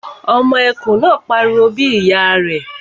Ọmọ kìnìún náà pariwo bí ìyá rẹ̀